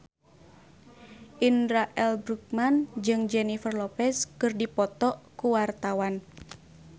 Indra L. Bruggman jeung Jennifer Lopez keur dipoto ku wartawan